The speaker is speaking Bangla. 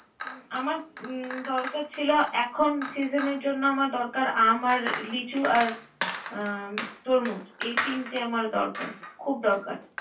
আমার দরকার ছিল এখন সিজনের জন্য আমার দরকার আম আর লিচু আর তরমুজ, এই তিনটে আমার দরকার। খুব দরকার